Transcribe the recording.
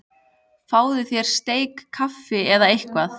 Fáðu þér sterkt kaffi eða eitthvað.